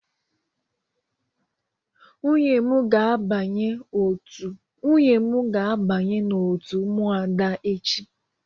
Nwunye ga-abanye n'òtù Ụmụada echi.